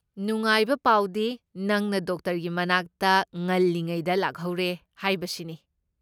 ꯅꯨꯡꯉꯥꯏꯕ ꯄꯥꯎꯗꯤ, ꯅꯪꯅ ꯗꯣꯛꯇꯔꯒꯤ ꯃꯅꯥꯛꯇ ꯉꯜꯂꯤꯉꯩꯗ ꯂꯥꯛꯍꯧꯔꯦ ꯍꯥꯏꯕꯁꯤꯅꯤ꯫